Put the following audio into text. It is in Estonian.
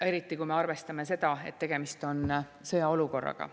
Eriti, kui me arvestame seda, et tegemist on sõjaolukorraga.